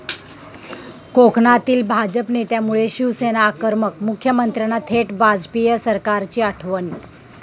कोकणातील भाजप नेत्यामुळे शिवसेना आक्रमक, मुख्यमंत्र्यांना थेट वाजपेयी सरकारची आठवण